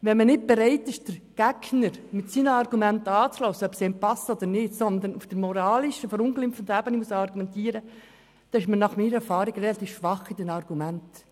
Wenn man nicht bereit ist, den Gegner mit seinen Argumenten anzuhören – ob diese einem passen oder nicht –, sondern auf der moralischen, verunglimpfenden Ebene argumentiert, hat man nach meiner Erfahrung relativ schwache Argumente.